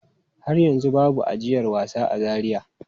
Har yanzu babu ajiyar wasa a Zaria.